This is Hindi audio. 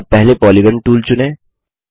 अब पहले पॉलीगॉन टूल चुनें